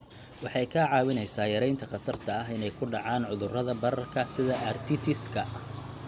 Waxay kaa caawinaysaa yaraynta khatarta ah inay ku dhacaan cudurrada bararka sida arthritis-ka.